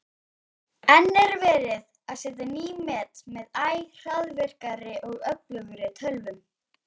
enn er verið að setja ný met með æ hraðvirkari og öflugri tölvum